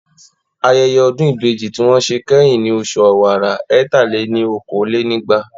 Ayẹyẹ Ọdún Ìbejì tí wọ́n ṣe kẹ́yìn ni oṣù ọ̀wàrà ẹ̀ta-lé-ní-okòó lé ní ẹgbàá